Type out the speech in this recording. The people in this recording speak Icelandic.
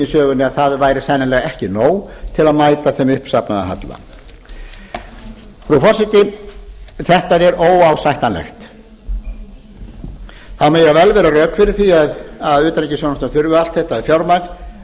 sögunni að það væri sennilega ekki nóg til að mæta þeim uppsafnaða halla frú forseti þetta er óásættanlegt það mega vel vera rök fyrir því að utanríkisþjónustan þurfi allt þetta fjármagn